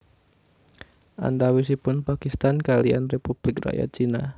Antawisipun Pakistan kaliyan Republik Rakyat Cina